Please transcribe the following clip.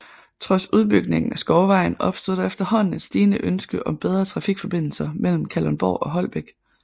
Trods udbygningen af Skovvejen opstod der efterhånden et stigende ønske om bedre trafikforbindelser mellem Kalundborg og Holbæk